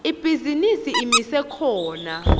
ibhizinisi imise khona